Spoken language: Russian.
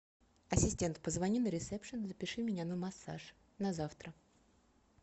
ассистент позвони на ресепшен запиши меня на массаж на завтра